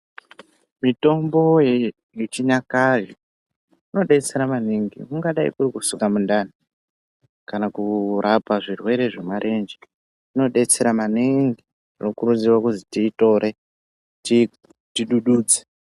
Mitombo yechinyakare inodetsera maningi kungadai kuri kusuka mundani kana kurapa zvirwere zvemarenje inodetsera maningi , tinokurudzirwa kuzi tiitore tidududze .